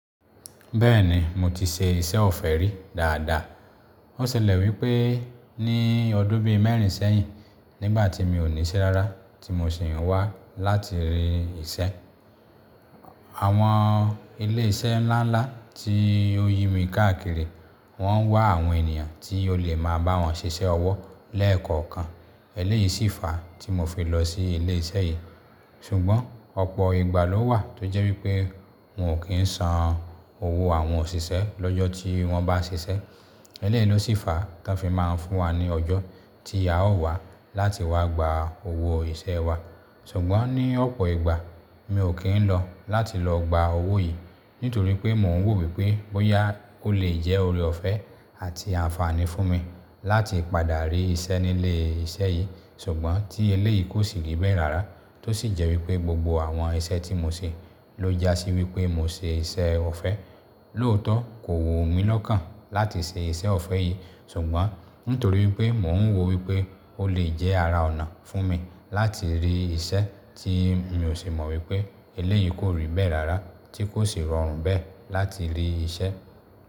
Bẹ́ẹ̀ni mo ti ṣe iṣẹ́ ọ̀fẹ́ rí dáadáa. Ó ṣẹlẹ̀ wípé ní ọdún bí i mẹ́rin sẹ́yìn nígbà tí mi ò ní iṣẹ́ rárá tí mo sì wá láti rí iṣẹ́. Àwọn ilé-iṣẹ́ ńláńlá tí ó yí mi káàkiri wọ́n ń wá àwọn ènìyàn tí ó lè máa bá wọn ṣiṣẹ́ ọwọ́ lẹ́ẹ̀kọ̀ọ̀kan. Eléyìí sì fàá tí mo fi lọ sí ilé-iṣẹ́ yìí. Ṣùgbọ́n ọ̀pọ̀ ìgbà ló wà tó jẹ́ wípé wọn ò kí ń san owó àwọn òṣìṣẹ́ lọ́jọ́ tí wọ́n bá ṣiṣẹ́. Eléyìí ló sì fàá tí ń fi máa ń fún wa ní ọjọ́ tí a ó wá láti wá gba owó iṣẹ́ wa. Ṣùgbọ́n ní ọ̀pọ̀ ìgbà mi ò kí ń lọ láti lọ gba owó yìí nítorí pé mò ń wò wípé bóyá ó lè jẹ́ ore ọ̀fẹ́ àti àǹfààní fún mi láti padà rí iṣẹ́ ní ilé iṣẹ́ yìí. Ṣùgbọ́n tí eléyìí kò sì rí bẹ́ẹ̀ rárá tó sì jẹ́ wípé gbogbo àwọn iṣẹ́ tí mo ṣe ló jásí wípé mo ṣe iṣẹ́ ọ̀fẹ́. Lóòótọ́ kò wù mí lọ́kàn láti ṣe iṣẹ́ ọ̀fẹ́ yìí ṣùgbọ́n nítorí pé mò ń wò wípé ó lè jẹ́ ara ọ̀nà fún mi láti rí iṣẹ́ tí mi ò sì mọ̀ wípé eléyìí kò rí bẹ́ẹ̀ rárá tí kò sì rọrùn bẹ́ẹ̀ láti rí iṣẹ́.